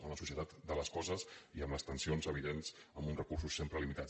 en la societat de les coses hi ha unes tensions evidents amb uns recursos sempre limitats